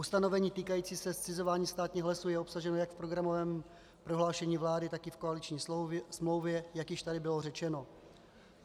Ustanovení týkající se zcizování státních lesů je obsaženo jak v programovém prohlášení vlády, tak i v koaliční smlouvě, jak již tady bylo řečeno.